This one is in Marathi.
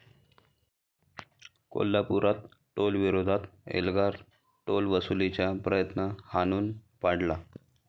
कोल्हापुरात टोलविरोधात एल्गार, टोलवसुलीचा प्रयत्न हाणून पाडला